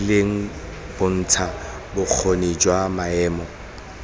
rileng bontsha bokgoni jwa maemo